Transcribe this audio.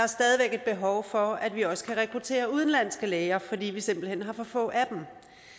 et behov for at vi også kan rekruttere udenlandske læger fordi vi simpelt hen har for få af dem